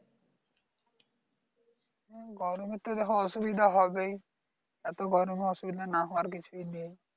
হম গরমে তো দেখো অসুবিধা হবেই এত গরমে অসুবিধা না হওয়ার কিছুই নেই